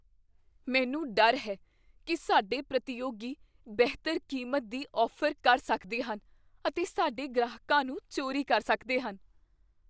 ਮੈਨੂੰ ਡਰ ਹੈ ਕੀ ਸਾਡੇ ਪ੍ਰਤੀਯੋਗੀ ਬਿਹਤਰ ਕੀਮਤ ਦੀ ਔਫ਼ਰ ਕਰ ਸਕਦੇ ਹਨ ਅਤੇ ਸਾਡੇ ਗ੍ਰਾਹਕਾਂ ਨੂੰ ਚੋਰੀ ਕਰ ਸਕਦੇ ਹਨ।